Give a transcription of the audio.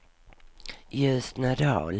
Ljusnedal